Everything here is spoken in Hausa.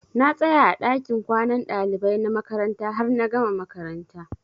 Na tsaya a ɗakin kwanan ɗalibai na makaranta har na gama makaranta.